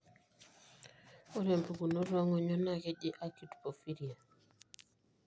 ore pukunoto ongonyo na keji acute porphyria.